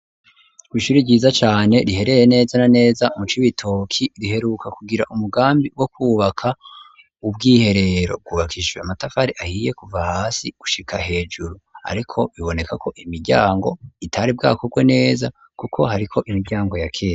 kw'ishuri ryiza cane rihereye neza na neza mu Cibitoki riheruka kugira umugambi wo ku baka ubwiherero bwubakishiwe amatafari ahiye kuva hasi gushika hejuru ariko biboneka ko imiryango itari bwakorwe neza kuko hariko imiryango ya kera.